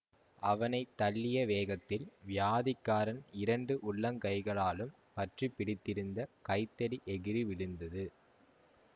அவனை தள்ளிய வேகத்தில் வியாதிக்காரன் இரண்டு உள்ளங் கைகளாலும் பற்றி பிடித்திருந்த கைத்தடி எகிறி விழுந்தது